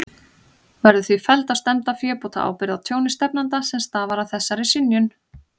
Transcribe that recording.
Verður því felld á stefnda fébótaábyrgð á tjóni stefnanda, sem stafar af þessari synjun.